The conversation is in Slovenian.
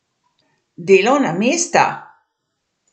Delovna mesta!